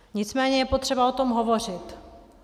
Nicméně je potřeba o tom hovořit.